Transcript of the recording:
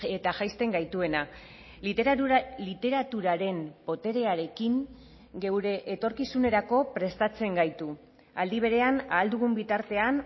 eta jaisten gaituena literaturaren boterearekin geure etorkizunerako prestatzen gaitu aldi berean ahal dugun bitartean